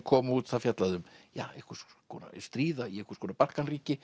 kom út það fjallaði um ja einhvers konar stríð í einhvers konar